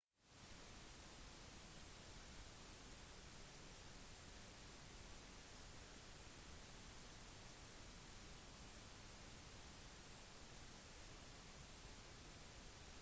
toppdommer evangelos kalousis ble deretter arrestert da han var skyldig i korrupsjon og degenerert oppførsel